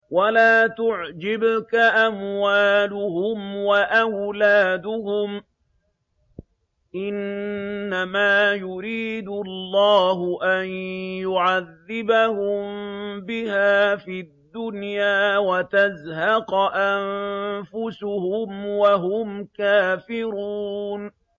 وَلَا تُعْجِبْكَ أَمْوَالُهُمْ وَأَوْلَادُهُمْ ۚ إِنَّمَا يُرِيدُ اللَّهُ أَن يُعَذِّبَهُم بِهَا فِي الدُّنْيَا وَتَزْهَقَ أَنفُسُهُمْ وَهُمْ كَافِرُونَ